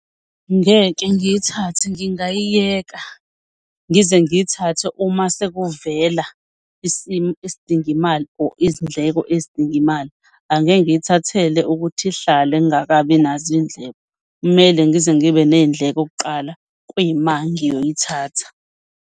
Ngeke ngiyithathe, ngingayiyeka ngize ngiyithathe uma sekuvela isimo esidinga imali or izindleko ezidinga imali. Angeke ngiyithathele ukuthi ihlale ngingakabi nazo iy'ndleko. Kumele ngize ngibe ney'ndleko kuqala kuyima ngiyoyithatha.